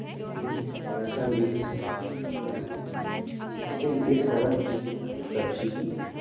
रखी हुई है और ऐसा देखने से प्रतीत हो रहा है जैसा ये सड़क के किनारे सब्जी की मंडी --